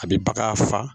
A bɛ bagan faga